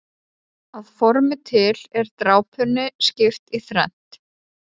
Að formi til er drápunni skipt í þrennt.